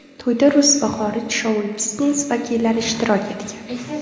To‘yda rus va xorij shou-biznes vakillari ishtirok etgan.